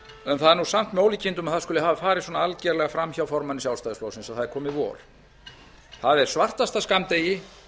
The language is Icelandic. það er samt með ólíkindum að það skuli hafa farið svona algjörlega fram hjá formanni sjálfstæðisflokksins að það er komið vor það er svartasta skammdegi